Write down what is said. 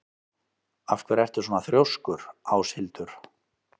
Af hverju ertu svona þrjóskur, Áshildur?